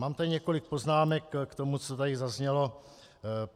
Mám tady několik poznámek k tomu, co tady zaznělo.